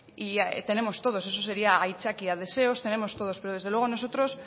tenemos todos eso sería aitzakia deseos tenemos todos pero desde luego nosotros